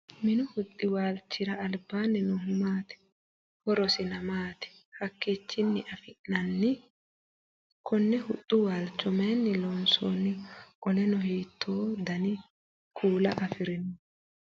Minnu huxi waalchira albaanni noohu maati? Horosinna maati? Hiikichinni afi'nanni? Konni huxu waalcho mayinni loonsooniho? Qoleno hiitoo danni kuula afirino?